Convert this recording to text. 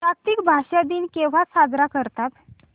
जागतिक भाषा दिन केव्हा साजरा करतात